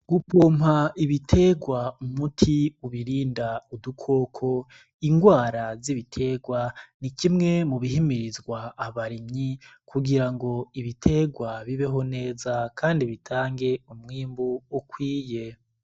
Gupompa ibiterwa umuti ubirinda udukoko ingwara z'ibiterwa ni kimwe mubihimirizwa abarimyi kugira ngo ibiterwa bibeho neza, Kandi bitange umwimbu ukwiye.